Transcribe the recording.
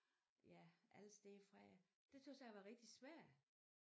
Ja alle steder fra det tøs jeg var rigtig svært